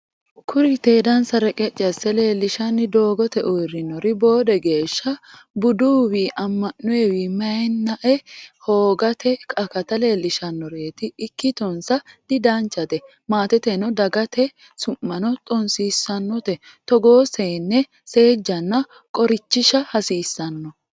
Kuri tedansa reqeci asse leellishanni doogote uurrinori boode geeshsha buduwi ama'nowi mayinae hoogate akata leelishshanoreti ikkittonsa didanchate maateteno dagate su'mano xonsiisanote, togoo seene seejjanna qorichisha hasiisano.